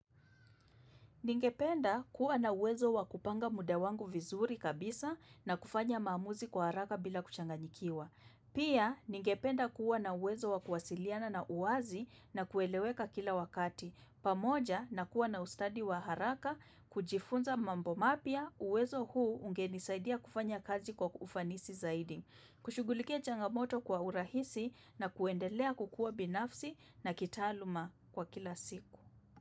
Ningependa kuwa na uwezo wa kupanga muda wangu vizuri kabisa na kufanya maamuzi kwa haraka bila kuchanganyikiwa. Pia ningependa kuwa na uwezo wa kuwasiliana na uazi na kueleweka kila wakati. Pamoja na kuwa na ustadi wa haraka kujifunza mambo mapya uwezo huu ungenisaidia kufanya kazi kwa ufanisi zaidi. Kushugulikia changamoto kwa urahisi na kuendelea kukua binafsi na kitaaluma kwa kila siku.